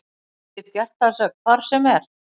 Ég get gert það hvar sem er.